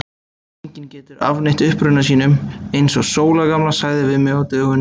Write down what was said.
Og enginn getur afneitað uppruna sínum, eins og Sóla gamla sagði við mig á dögunum.